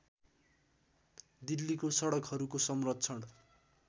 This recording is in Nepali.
दिल्लीको सडकहरूको संरक्षण